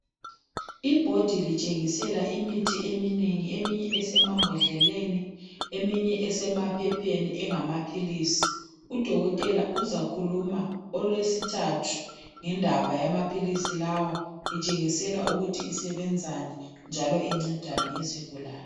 Ibhodi litshengisela imithi eminengi, eminye esemambodleleni eminye esemaphepheni engamaphilisi. Udokotela uzakhuluma olwesithathu ngendaba yamaphilisi lawa, itshengisela ukuthi isebenzani njalo incedani izigulane.